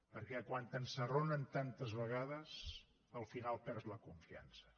perquè quan t’ensarronen tantes vegades al final perds la confiança